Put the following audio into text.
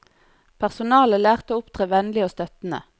Personalet lærte å opptre vennlig og støttende.